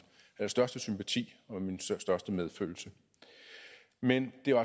største sympati og min største medfølelse men det